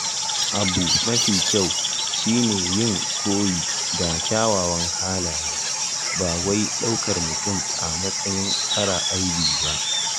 Abu mafi kyau shi ne yin koyi da kyawawan halaye, ba wai daukar mutum a matsayin mara aibi ba.